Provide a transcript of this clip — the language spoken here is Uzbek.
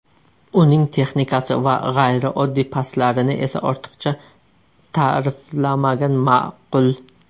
Uning texnikasi va g‘ayrioddiy paslarini esa ortiqcha ta’riflamagan ma’qul.